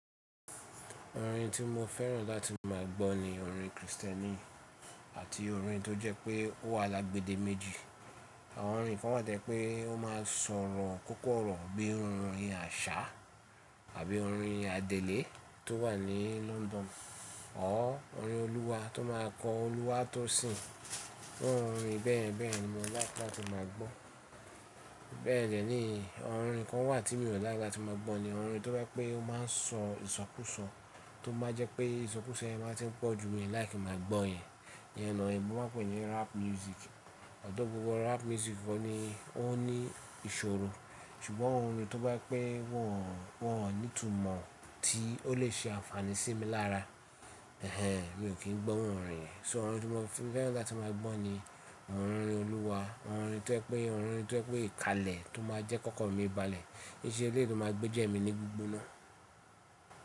Orin tí mo fẹ́ràn láti má a gbọ́ ni orin Kristẹni àti orin tó jẹ́ pé ó wà lágbẹ̀dẹ́ méjì. Àwọn orin kan wà tẹ́ pé ó má a sọ̀rọ̀ kọ́kọ́rọ̀ bí i orin àṣà àbí orin adẹ́lé tó wà ní London. Ọ́ orin Olúwa tó má a kọ Olúwa tó sìń. Àwọn orin bẹ́ẹ̀ bẹ́ẹ̀ ni mo laiki latí má a gbọ́. Bẹ́ẹ̀ dẹ́ ní orin kan wà tí mi ò lái ki lati má a gbọ́ ni orin tó jẹ́ pé ó má a sọ ìsọkúsọ tó má a jẹ́ pé ìsọkúso yen má a tí ń pọ̀ ju mi láì kí n máa gbọ́ yẹn. Ìyẹn ni oyinbọ́ má a pè é ní rap music. Ọ̀dọ̀ gbogbo rap music wọ́n ní, ó ní ìṣòro. Ṣùgbọ́n orin tó bá pé wọ́n, wọ́n ò ní ìtumọ̀ tí ó lè ṣe àǹfààní sí mi lára. Ẹ̀hẹn, mi ò kí ń gbọ́ orin yen. So orin tí mo fẹ́ràn láti má a gbọ́ ni àwọn orin Olúwa, àwọn orin tó jẹ́ pé, àwọn orin tó jẹ́ pé ìkalẹ̀ tó má a jẹ́ kọ́kọ́rọ́ mi balẹ̀. Í ṣe elé tó má a gbéjẹ́ mi ní gbigboná.